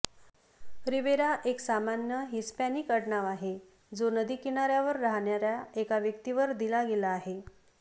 Riviera एक सामान्य Hispanic आडनाव आहे जो नदी किनाऱ्यावर राहणाऱ्या एका व्यक्तीवर दिला गेला आहे